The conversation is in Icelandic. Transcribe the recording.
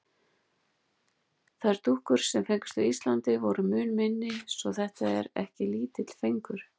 Þær dúkkur, sem fengust á Íslandi, voru mun minni svo þetta var ekki lítill fengur.